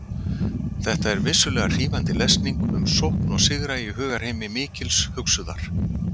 Þetta er vissulega hrífandi lesning um sókn og sigra í hugarheimi mikils hugsuðar.